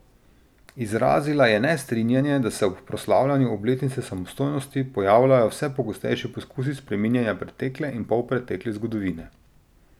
Izrazila je nestrinjanje, da se ob proslavljanju obletnice samostojnosti pojavljajo vse pogostejši poskusi spreminjanja pretekle in polpretekle zgodovine.